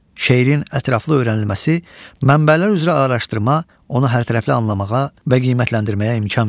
Şeirin ətraflı öyrənilməsi, mənbələr üzrə araşdırma onu hərtərəfli anlamağa və qiymətləndirməyə imkan verir.